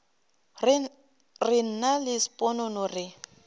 re nna le sponono re